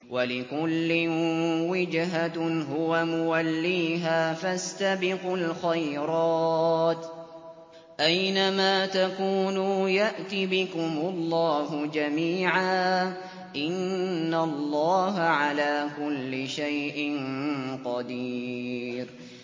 وَلِكُلٍّ وِجْهَةٌ هُوَ مُوَلِّيهَا ۖ فَاسْتَبِقُوا الْخَيْرَاتِ ۚ أَيْنَ مَا تَكُونُوا يَأْتِ بِكُمُ اللَّهُ جَمِيعًا ۚ إِنَّ اللَّهَ عَلَىٰ كُلِّ شَيْءٍ قَدِيرٌ